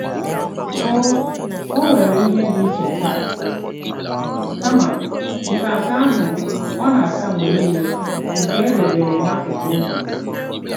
O O were ihe dị iche taa kama ntanta ahụ ọ na-ata mgbe niile nke e debere n'akụkụ ụzọ.